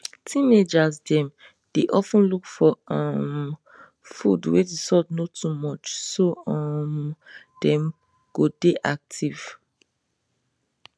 teenagers dem dey of ten look for um food wey the salt no too much so um dem go dey active